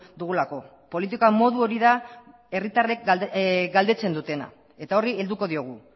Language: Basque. dugulako politika modu hori da herritarren galdetzen dutena eta horri helduko diogu